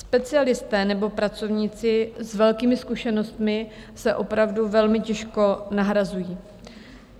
Specialisté nebo pracovníci s velkými zkušenostmi se opravdu velmi těžko nahrazují.